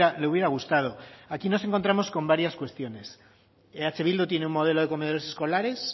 le hubiera gustado aquí nos encontramos con varias cuestiones eh bildu tiene un modelo de comedores escolares